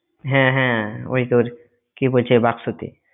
হ্যাঁ হ্যাঁ ওই তোর কি বলছে বাক্সতে